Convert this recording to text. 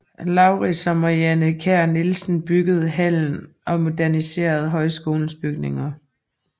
Laurids og Marianne Kjær Nielsen byggede hallen og moderniserede højskolens bygninger